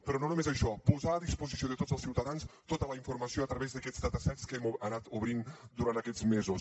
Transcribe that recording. però no només això posar a disposició de tots els ciutadans tota la informació a través d’aquests datasets que hem anat obrint durant aquests mesos